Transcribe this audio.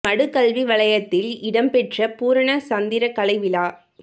மடு கல்வி வலயத்தில் இடம் பெற்ற பூரண சந்திரக் கலை விழா